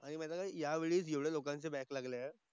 आणि माहिती आहे का या वेळी जेवढ्या लोकांचे बॅक लागल्यात,